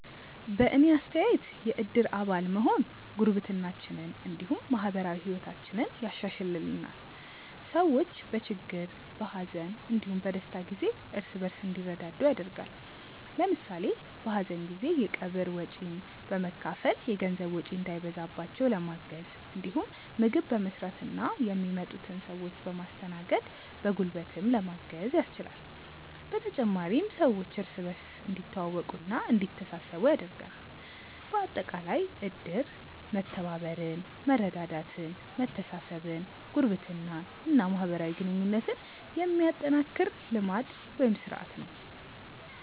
በእኔ አስተያየት የእድር አባል መሆን ጉርብትናችንን እንዲሁም ማህበራዊ ህይወታችንን ያሻሻሽልልናል። ሰዎች በችግር፣ በሀዘን እንዲሁም በደስታ ጊዜ እርስ በእርስ እንዲረዳዱ ያደርጋል። ለምሳሌ በሀዘን ጊዜ የቀብር ወጪን በመካፈል የገንዘብ ወጪ እንዳይበዛባቸው ለማገዝ እንዲሁም ምግብ በመስራትና የሚመጡትን ሰዎች በማስተናገድ በጉልበትም ለማገዝ ያስችላል። በተጨማሪም ሰዎች እርስ በእርስ እንዲተዋወቁና እንዲተሳሰቡ ያደርጋል። በአጠቃላይ እድር መተባበርን፣ መረዳዳትን፣ መተሳሰብን፣ ጉርብትናን እና ማህበራዊ ግንኙነትን የሚያጠናክር ልማድ (ስርአት) ነው።